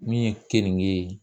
Min ye keninge ye